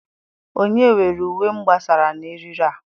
Onye were uwe m gbasaa na eriri a.